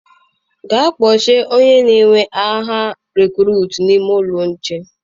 Gaa kpochie onye na-ewe agha rekurutu n'ime ụlọ nche.